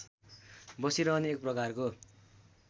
बसिरहने एक प्रकारको